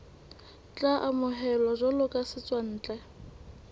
tla amohelwa jwalo ka setswantle